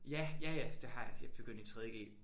Ja ja ja det har jeg jeg begyndte i tredje g